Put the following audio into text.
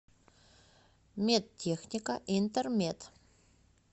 медтехника интермед